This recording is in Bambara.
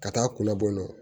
Ka taa kunna bɔ n na